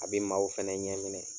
A be maaw fɛnɛ ɲɛ minɛ.